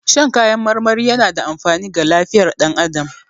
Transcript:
Shan kayan marmari yana da amfani ga lifiyar dan adamu